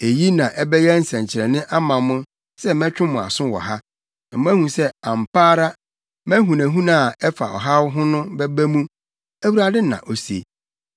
“ ‘Eyi na ɛbɛyɛ nsɛnkyerɛnne ama mo sɛ mɛtwe mo aso wɔ ha, na moahu sɛ ampa ara mʼahunahuna a ɛfa ɔhaw ho no bɛba mu,’ Awurade na ose.